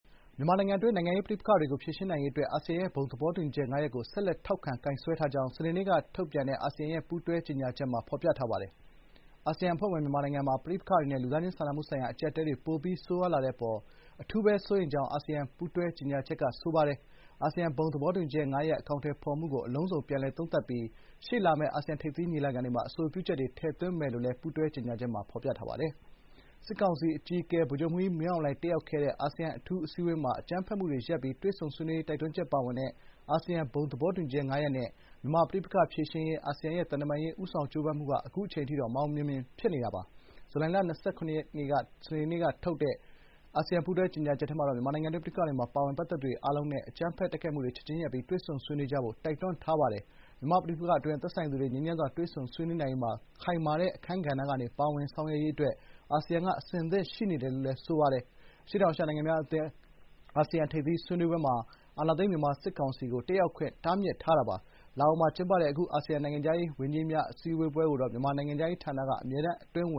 မြန်မာနိုင်ငံတွင်း နိုင်ငံရေး ပဋိပက္ခတွေကို ဖြေရှင်းနိုင်ရေး အတွက် အာဆီယံရဲ့ ဘုံသဘောတူညီချက် ၅ ရပ်ကို ဆက်လက် ထောက်ခံ ကိုင်စွဲထားကြောင်း စနေနေ့က ထုတ်တဲ့ အာဆီယံရဲ့ ပူးတွဲကြေညာချက်က ဖော်ပြပါတယ်။ အာဆီယံအဖွဲ့ဝင် မြန်မာနိုင်ငံမှာ ပဋိပက္ခတွေနဲ့ လူသားချင်းစာနာမှုဆိုင်ရာ အကျပ်အတည်းတွေ ပိုပြီး ဆိုးရွာလာတဲ့ အပေါ် အထူးဘဲ စိုးရိမ်ကြောင်း အာဆီယံ ပူးတွဲ ကြေညာချက်မှာ ပြောဆိုထားပါတယ်။ အာဆီယံ ဘုံ သဘောတူညီချက် ၅ ရပ် အကောင်အထည်ဖော်မှုကို အလုံးစုံ ပြန်လည် သုံးသပ်ပြီး ရှေ့လာမယ့် အာဆီယံ ထိပ်သီး ညီလာခံတွေမှာ အဆိုပြုချက်တွေ တင်သွင်းမယ်လို့လည်း ပူးတွဲ ကြေညာချက် ထုတ်ပြန်ပါတယ်။ စစ်ကောင်စီ အကြီးအကဲ ဗိုလ်ချုပ်မှူးကြီး မင်းအောင်လှိုင် တက်ရောက်ခဲ့တဲ့ အာဆီယံ အထူး အစည်းအဝေးမှာ အကြမ်းဖက်မှုတွေ ရပ်ပြီး တွေ့ဆုံဆွေးနွေးရေး တိုက်တွန်းချက်ပါဝင်တဲ့ အာဆီယံ ဘုံသဘောတူညီချက် ၅ ရပ်နဲ့ မြန်မာ့ပဋိပက္ခ ဖြေရှင်းရေး အာဆီယံရဲ့ သံတမန်ရေး ဦးဆောင် ကြိုးပမ်းမှုက အခုအချိန်ထိတော့ မအောင်မြင်သေးပါဘူး။ ဇူလိုင်လ ၂၇ ရက်နေ့ စနေနေ့ကထုတ်တဲ့ အာဆီယံ ပူးတွဲကြေညာချက်မှာတော့ မြန်မာနိုင်ငံတွင်း ပဋိပက္ခတွေမှာ ပါဝင်ပတ်သက်သူတွေ အားလုံးအနေနဲ့ အကြမ်းဖက် တိုက်ခိုက်မှုတွေ ချက်ချင်းရပ်ပြီး တွေ့ဆုံဆွေးနွေးကြဖို့ တိုက်တွန်းထားပါတယ်။ မြန်မာ့ ပဋိပက္ခအတွင်း သက်ဆိုင်သူတွေ ငြိမ်းချမ်းစွာ တွေ့ဆုံဆွေးနွေးနိုင်ရေးမှာ ခိုင်မာတဲ့ အခန်းကဏ္ဍကနေ ပါဝင်ဆောင်ရွက်ရေးအတွက် အာဆီယံက အဆင့်သင့် ရှိတယ်လို့လည်း ဖော်ပြထားပါတယ်။ အရှေ့တောင်အာရှနိုင်ငံများအသင်း အာဆီယံ ထိပ်သီး ဆွေးနွေးပွဲတွေမှာတော့ အာဏာသိမ်း မြန်မာ စစ်ကောင်စီကို တက်ရောက်ခွင့် တားမြစ်ထားတာပါ။ လာအိုမှာ ကျင်းပခဲ့တဲ့ အာဆီယံ နိုင်ငံခြားရေးဝန်ကြီးများ အစည်းအဝေးမှာတော့ မြန်မာနိုင်ငံခြားရေးဌာန အမြဲတမ်း အတွင်းဝ